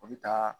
O bɛ taa